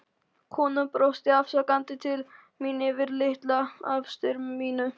Konan brosti afsakandi til mín yfir litla afstyrminu.